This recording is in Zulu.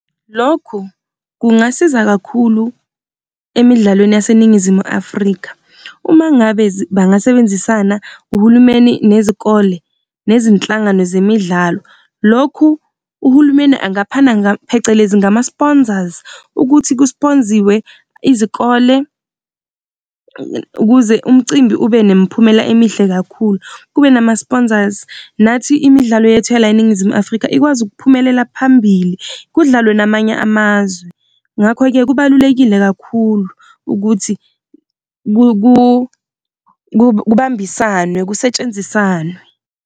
Lokhu kungasiza kakhulu emidlalweni yaseNingizimu Afrika, uma ngabe bangasebenzisana uhulumeni nezikole nezinhlangano zemidlalo. Lokhu, uhulumeni angaphana phecelezi ngama-sponsors ukuthi kusponziwe izikole ukuze umcimbi ube nemiphumela emihle kakhulu kube nama-sponsors. Nathi imidlalo yethu ya la eNingizimu Afrika ikwazi ukuphumelela phambili, kudlalwe namanye amazwe. Ngakho-ke kubalulekile kakhulu ukuthi kubambisane kusetshenzisane.